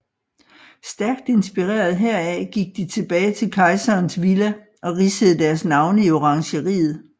Stærkt inspireret heraf gik de tilbage til Kejserens Villa og ridsede deres navne i orangeriet